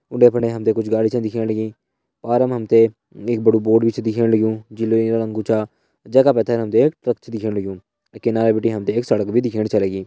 उंडे फुंडे हम त कुछ गाड़ी छा दिखेण लगीं पार पर हम त एक बड़ू बोर्ड भी छ दिखेण लग्युं जू नीलू रंग कू छा। जैका पैथर हम त एक ट्रक छ दिखेण लग्युं किनारा बिटि हम त एक सड़क भी दिखेण छ लगीं।